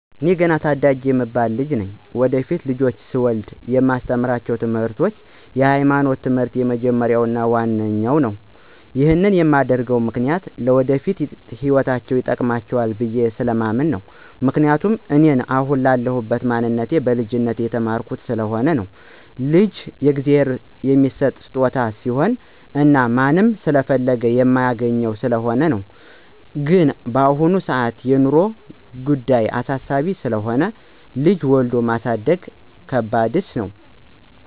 ኤኔ ገና ታዳጊ የምባል ልጅ ነኝ። ወደፊት ልጆች ስወልድ የማስተምራቸው ትምርቶች የሀይማኖት ትምህር የመጀመርያው እና ዋናው ነው። ይሄን የማደርግበት ምክኒያት ለወደፊት ህይወታቸው ይጠቅማል ብየስለማምን ነው፤ ምክንያቱም እኔን አሁን ላለሁበት ማንነቴ በልጅነቴ የተማርኩት ስለሆነ ነው። ልጅ ከእግዚአብሔር የሚሠጥ ስጦታ ስሆነ እና ማንም ስለፈለገ የማያገኘው ስለሆነ ነው። ግን በአሁን ሰአት የኑሮ ጉዳይ አሳሳቢ ስለሆነ ልጅ ወልዶ ማሳደግ ከባደሰ ነው።